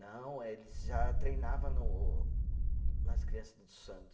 Não, eh eles já treinava no nas criança do Santos.